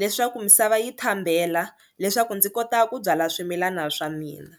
leswaku misava yi thambela leswaku ndzi kota ku byala swimilana swa mina.